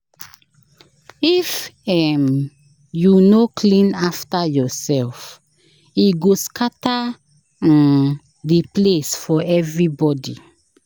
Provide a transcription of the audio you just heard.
If um you no clean after yourself, e go scatter um the place for everybody."